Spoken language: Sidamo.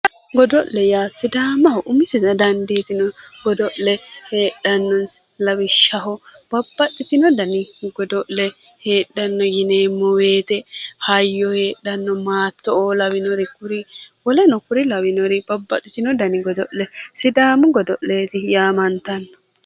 Godo'le yaa sidaamaho umisitta dandiitino godo'le heedhanosi lawishshaho babbaxitino danni godo'le heedhano yineemmo woyte hayyo heedhano, maattoo lawinori woleno kuri lawinori sidaamu godole yaamantano